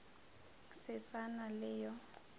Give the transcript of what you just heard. se sa na le yo